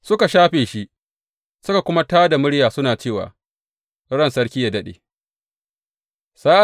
Suka shafe shi suka kuma tā da murya suna cewa, Ran sarki yă daɗe!